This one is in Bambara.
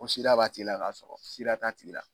Ko SIDA b'a tigi la k'a sɔrɔ SIDA t'a